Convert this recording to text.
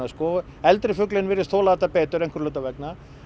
eldri fuglinn virðist þola þetta betur einhverra hluta vegna